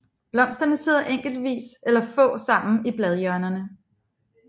Blomsterne sidder enkeltvis eller få sammen i bladhjørnerne